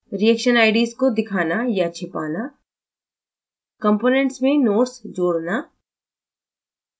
reaction ids को दिखाना/छिपाना